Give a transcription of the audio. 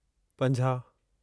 पंंजाह